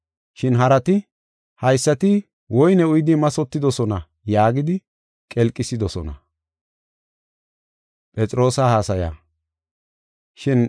Shin harati, “Haysati woyne uyidi mathotidosona” yaagidi qelqisidosona. Phenxeqosxe Baliyas Asay Yida Dumma Dumma Gadeta